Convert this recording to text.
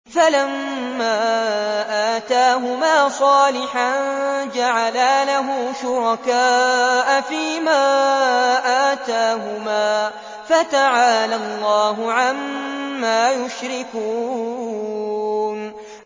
فَلَمَّا آتَاهُمَا صَالِحًا جَعَلَا لَهُ شُرَكَاءَ فِيمَا آتَاهُمَا ۚ فَتَعَالَى اللَّهُ عَمَّا يُشْرِكُونَ